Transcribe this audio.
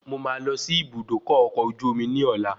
Mo máa lọ sí Ibùdókọ̀ ọkọ̀ ojú omi ní ọ̀la